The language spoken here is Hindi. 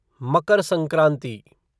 मकर संक्रांति